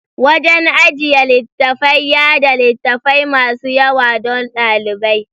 Wajan ajjiye littafai yada littafai masu yawa dan dalibai